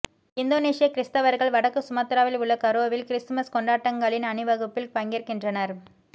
இந்தோனீசிய கிறிஸ்தவர்கள் வடக்கு சுமத்ராவில் உள்ள கரோவில் கிறிஸ்துமஸ் கொண்டாட்டங்களின் அணிவகுப்பில் பங்கேற்கின்றனர்